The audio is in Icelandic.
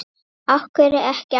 Af hverju ekki aftur?